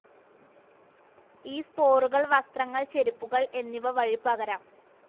ഈ സ്പോറുകൾ വസ്ത്രങ്ങൾ ചെരിപ്പുകൾ എന്നിവ വഴി പകരാം.